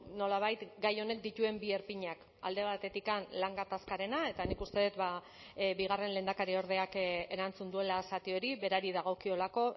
nolabait gai honek dituen bi erpinak alde batetik lan gatazkarena eta nik uste dut bigarren lehendakariordeak erantzun duela zati hori berari dagokiolako